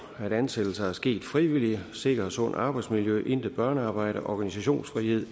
at ansættelser er sket frivilligt et sikkert og sundt arbejdsmiljø at der intet børnearbejde er organisationsfrihed